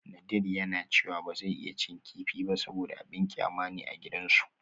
Nadir yana cewa ba zai iya cin kifi ba saboda abin kyama ne a gidansu